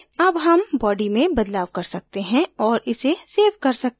अब हम body में बदलाव कर सकते हैं और इसे save सकते हैं